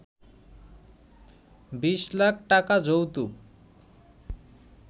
২০ লাখ টাকা যৌতুক